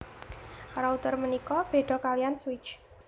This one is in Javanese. Router punika béda kaliyan switch